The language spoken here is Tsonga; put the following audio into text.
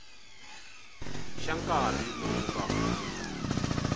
xa nkarhi lowu nga hundza